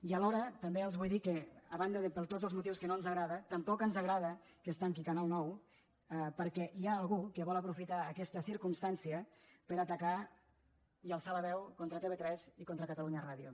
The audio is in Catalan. i alhora també els vull dir que a banda de per tots els motius que no ens agrada tampoc ens agrada que es tanqui canal nou perquè hi ha algú que vol aprofitar aquesta circumstància per atacar i alçar la veu contra tv3 i contra catalunya ràdio